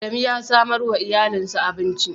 Adamu ya samar wa iyalinsa abinci.